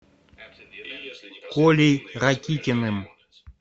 колей ракитиным